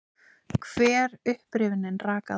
Hver upprifjunin rak aðra.